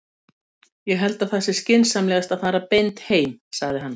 Ég held að það sé skynsamlegast að fara beint heim, sagði hann.